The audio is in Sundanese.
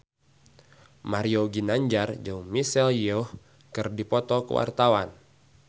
Mario Ginanjar jeung Michelle Yeoh keur dipoto ku wartawan